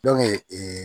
ee